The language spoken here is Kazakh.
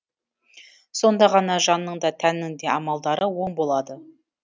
сонда ғана жанның да тәннің де амалдары оң болады